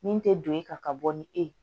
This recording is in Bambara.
Min tɛ don e kan ka bɔ ni e ye